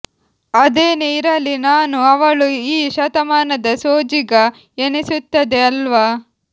ಅದೇನೆ ಇರಲಿ ನಾನು ಅವಳು ಈ ಶತಮಾನದ ಸೋಜಿಗ ಎನಿಸುತ್ತದೆ ಅಲ್ವ